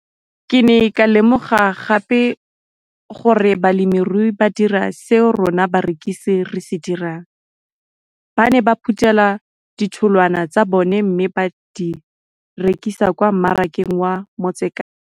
Ke ne ka lemoga gape gore balemirui ba dira seo rona barekisi re se dirang - ba ne ba phuthela ditholwana tsa bona mme ba di rekisa kwa marakeng wa Motsekapa.